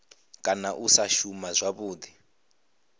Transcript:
kana u sa shuma zwavhudi